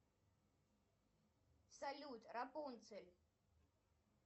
салют рапунцель